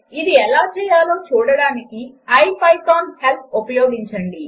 ఇది ఎలా చేయాలో చూడడానికి ఐపైథాన్ హెల్ప్ ఉపయోగించండి